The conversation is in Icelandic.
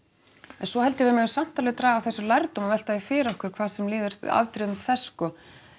en svo held ég að við megum samt alveg draga af þessu lærdóm og velta því fyrir okkur hvað sem líður afdrifum þess sko